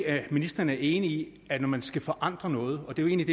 er ministeren ikke enig i at når man skal forandre noget og det er